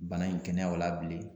Bana in kɛnɛya o la bilen